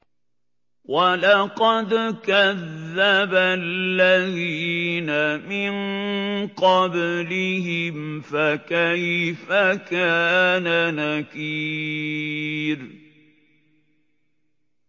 وَلَقَدْ كَذَّبَ الَّذِينَ مِن قَبْلِهِمْ فَكَيْفَ كَانَ نَكِيرِ